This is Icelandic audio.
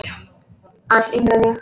Aðeins yngri en ég.